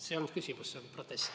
See ei olnud küsimus, see oli protest.